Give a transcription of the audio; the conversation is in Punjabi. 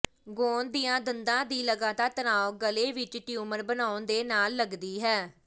ਗੌਣ ਦੀਆਂ ਦੰਦਾਂ ਦੀ ਲਗਾਤਾਰ ਤਣਾਅ ਗਲੇ ਵਿਚ ਟਿਊਮਰ ਬਣਾਉਣ ਦੇ ਨਾਲ ਲੱਗਦੀ ਹੈ